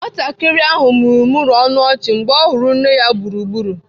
Nwatakịrị ahụ mụmụrụ ọnụ ọchị mgbe ọ hụrụ nne ya gburugburu.